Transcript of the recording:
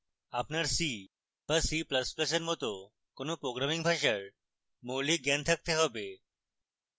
আপনার c বা c ++ এর মত কোনো programming ভাষার মৌলিক জ্ঞান থাকতে have